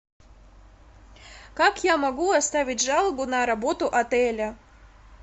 как я могу оставить жалобу на работу отеля